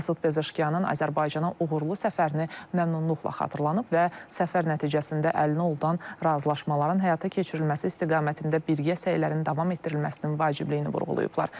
Məsud Pezeşkiyanın Azərbaycana uğurlu səfərini məmnunluqla xatırlanıb və səfər nəticəsində əldə olunan razılaşmaların həyata keçirilməsi istiqamətində birgə səylərin davam etdirilməsinin vacibliyini vurğulayıblar.